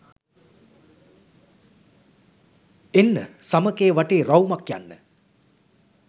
එන්න සමකය වටේ රවුමක් යන්න